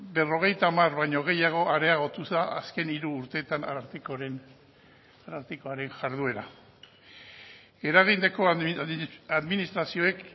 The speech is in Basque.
berrogeita hamar baino gehiago areagotu da azken hiru urteetan arartekoaren jarduera eragineko administrazioak